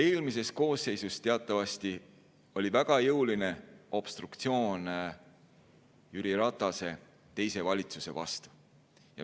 Eelmises koosseisus teatavasti oli väga jõuline obstruktsioon Jüri Ratase teise valitsuse vastu.